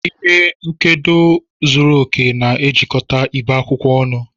Ihe nkedo zuru oke na-ejikọta ibe akwụkwọ ọnụ.